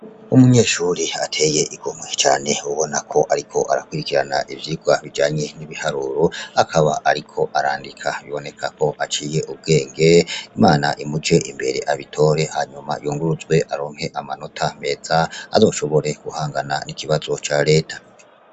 Umunyeshuri ateye igomwe cane ubona ko ariko arakurikirana ivyirwa bijanye n'ibiharuro akaba ariko arandika biboneka aciye ubwenge, imana imuje imbere abitore hanyuma yunguruzwe aronke amanota meza azoshobore guhangana n'ikibazo ca reta.